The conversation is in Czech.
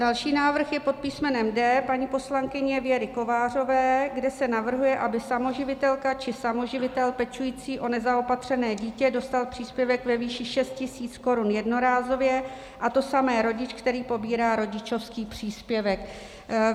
Další návrh je pod písmenem D paní poslankyně Věry Kovářové, kde se navrhuje, aby samoživitelka či samoživitel pečující o nezaopatřené dítě dostali příspěvek ve výši 6 tisíc korun jednorázově, a to samé rodič, který pobírá rodičovský příspěvek.